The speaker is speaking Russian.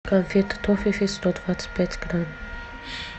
конфеты тофифи сто двадцать пять грамм